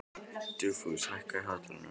Dugfús, hækkaðu í hátalaranum.